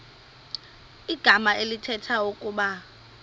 igama elithetha ukuba